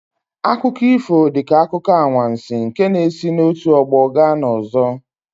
Akụkọ ifo dị ka akụkọ anwansi nke na-esi n'otu ọgbọ gaa n'ọzọ.